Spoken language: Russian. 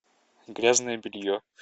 грязное белье